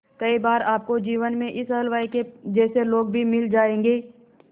कई बार आपको जीवन में इस हलवाई के जैसे लोग भी मिल जाएंगे